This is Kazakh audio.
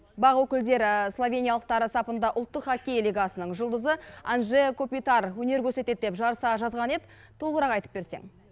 бақ өкілдері словениялықтар сапында ұлттық хоккей лигасының жұлдызы анжея купитар өнер көрсетеді деп жарыса жазған еді толығырақ айтып берсең